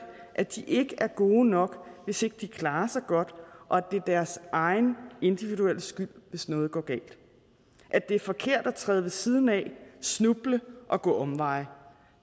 at de ikke er gode nok hvis ikke de klarer sig godt og at det er deres egen individuelle skyld hvis noget går galt at det er forkert at træde ved siden snuble og gå omveje